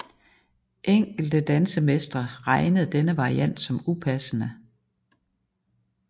Enkelte dansemestre regnede denne variant som upassende